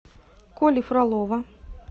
коли фролова